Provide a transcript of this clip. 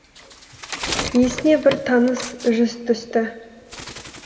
есіне бір таныс жүз түсті